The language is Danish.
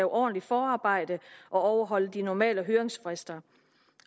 ordentligt forarbejde og overholde de normale høringsfrister